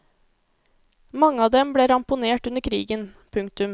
Mange av dem ble ramponert under krigen. punktum